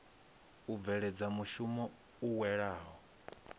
u bveledza mushumo u welaho